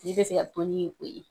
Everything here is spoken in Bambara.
Tigi bɛ se ka i ye.